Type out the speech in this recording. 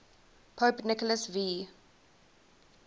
pope nicholas v